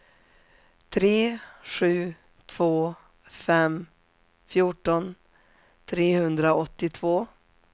tre sju två fem fjorton trehundraåttiotvå